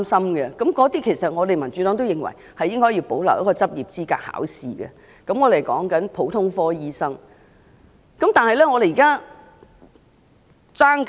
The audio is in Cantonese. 對於這些醫生，民主黨也認為應保留要通過執業資格考試，但所指的是普通科醫生。